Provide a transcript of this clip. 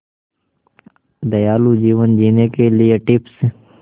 दयालु जीवन जीने के लिए टिप्स